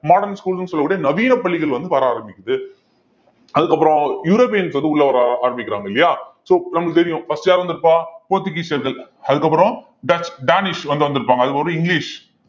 modern school ன்னு சொல்லக்கூடிய நவீன பள்ளிகள் வந்து வர ஆரம்பிக்குது அதுக்கப்புறம் யுரோப்பியன்ஸ் வந்து உள்ள வர ஆரம்பிக்கிறாங்க இல்லையா so நம்மளுக்கு தெரியும் first யாரு இருந்திருப்பா போர்ச்சுகீசியர்கள் அதுக்கப்புறம் டச் டானிஷ் வந்து வந்திருப்பாங்க அது ஒரு இங்கிலிஷ்